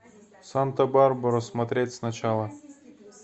санта барбара смотреть сначала